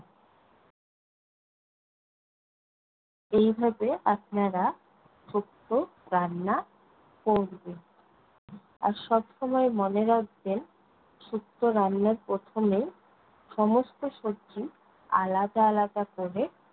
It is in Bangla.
এইভাবে আপনারা শুক্তো রান্না করবেন। আর সব সময় মনে রাখবেন, শুক্তো রান্নার প্রথমে সমস্ত সবজি আলাদা আলাদা করে